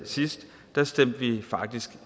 sidst stemte vi faktisk